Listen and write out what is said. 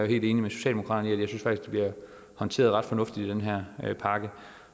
helt enig med socialdemokraterne i at det faktisk bliver håndteret ret fornuftigt i den her pakke